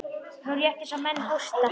Nú, rétt eins og menn hósta.